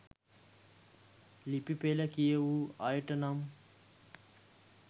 ලිපි පෙළ කියවූ අයට නම්